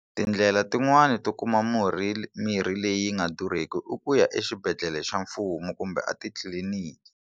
Tindlela tin'wani to kuma murhi mirhi leyi nga durheki i ku ya exibedhlele xa mfumo kumbe atitliliniki.